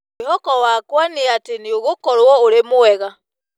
Mwĩhoko wakwa nĩ atĩ nĩũgũkorwo ũrĩ mwega.